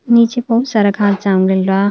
नीचे बहुत सारा घांस जाम गइल बा।